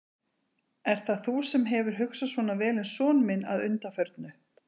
Ert það þú sem hefur hugsað svona vel um son minn að undanförnu?